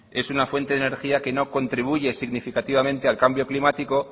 es una fuente de energía que no contribuye significativamente al cambio climático